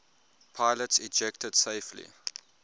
pilots ejected safely